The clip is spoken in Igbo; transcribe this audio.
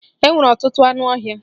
E nwere ọtụtụ anụ ọhịa.